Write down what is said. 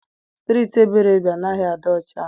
Striiti Ebere bi anaghị adị ọcha.